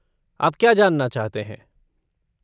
आप क्या जानना चाहते हैं?